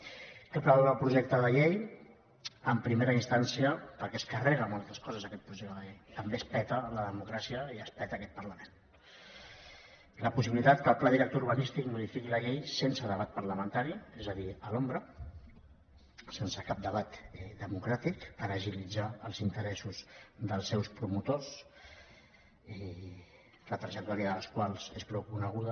què preveu el projecte de llei en primera instància perquè es carrega moltes coses aquest projecte de llei també es peta la democràcia i es peta aquest parlament la possibilitat que el pla director urbanístic modifiqui la llei sense debat parlamentari és a dir a l’ombra sense cap debat democràtic per agilitzar els interessos dels seus promotors la trajectòria dels quals és prou coneguda